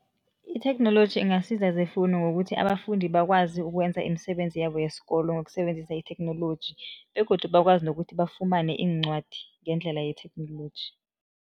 Itheknoloji ingasiza zefundo ngokuthi abafundi bakwazi ukwenza imisebenzi yabo yesikolo, ngokusebenzisa itheknoloji begodu bakwazi nokuthi bafumane iincwadi ngendlela yetheknoloji.